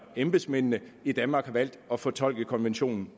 embedsmændene i danmark har valgt at fortolke konventionen